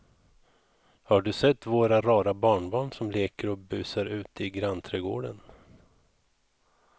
Har du sett våra rara barnbarn som leker och busar ute i grannträdgården!